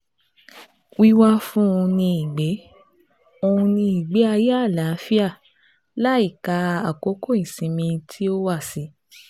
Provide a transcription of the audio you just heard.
Wíwá fún un ní ìgbé un ní ìgbé ayé àlàáfíà, láìka àkókò ìsinmi tí ó wà sí